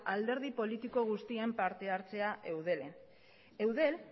alderdi politiko guztien parte hartzea eudelen eudel